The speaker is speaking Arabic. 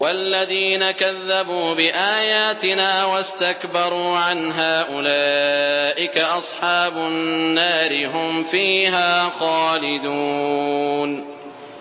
وَالَّذِينَ كَذَّبُوا بِآيَاتِنَا وَاسْتَكْبَرُوا عَنْهَا أُولَٰئِكَ أَصْحَابُ النَّارِ ۖ هُمْ فِيهَا خَالِدُونَ